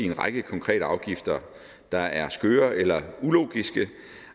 en række konkrete afgifter der er skøre eller ulogiske